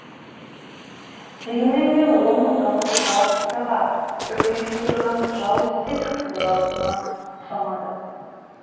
дегенмен де оның дауысы галактикаға үрей тудырған жауыз ситхтің дауысына ұқсамады